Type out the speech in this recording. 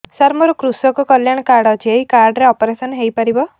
ସାର ମୋର କୃଷକ କଲ୍ୟାଣ କାର୍ଡ ଅଛି ଏହି କାର୍ଡ ରେ ଅପେରସନ ହେଇପାରିବ